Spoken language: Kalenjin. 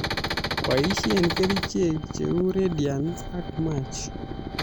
Boisie kerichek cheu Radiant ak Match